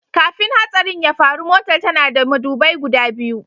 Kafin hatsarin ya faru, Motar tana da madubai guda biyu.